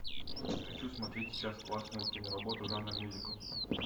хочу смотреть сейчас классную киноработу жанра мюзикл